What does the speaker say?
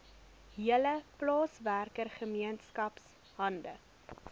hele plaaswerkergemeenskap hande